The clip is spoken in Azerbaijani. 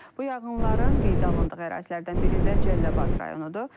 Bu yanğınların qeydə alındığı ərazilərdən biri də Cəlilabad rayonudur.